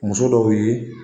Muso dɔw bɛ